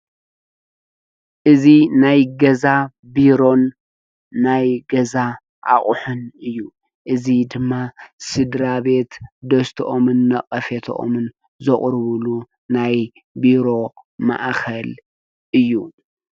እዚ ናይ ገዛ ቢሮን ናይ ገዛ ኣቕሑን እዩ፡፡ እዚ ድማ ስድራ ቤት ደስተኦምን ነቐፈተኦምን ዘቕርብሉ ናይ ቢሮ ማእኸል እዩ፡፡